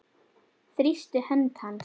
Þrýsti hönd hans.